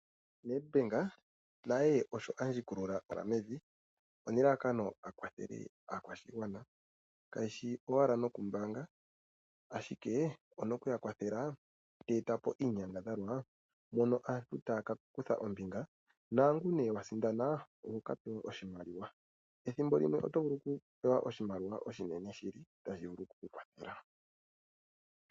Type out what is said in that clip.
NedBank naye osho andjikulula oonyala mevi onelalakano akwathele oshigwana . Kayishi owala nokumbaanga ashike onoku yakwathela teeta po iinyangadhalwa mono aantu taya kakutha ombinga naangu nee wasindana ohokapewa oshimaliwa oshinene tashi vulu oku kukwathela.